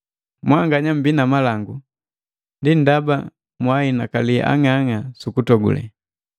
Mwanganya mmbii na malangu, ndi ndaba nunhinakali ang'ang'a sukutogule!